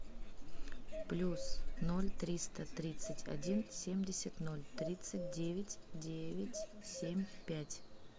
плюс ноль триста тридцать один семьдесят ноль тридцать девять девять семь пять